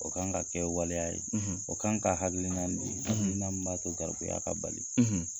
O ka ŋa kɛɛ waleya ye, o kan ka hakilinan di hakilinan min b'a to garibuya ka bali.